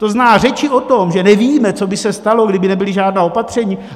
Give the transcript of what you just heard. To znamená, řeči o tom, že nevíme, co by se stalo, kdyby nebyla žádná opatření...